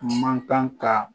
Man kan ka